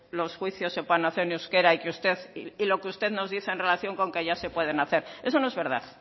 los juicios se puedan hacer en euskera y lo que usted nos dice en relación con que ya se pueden hacer eso no es verdad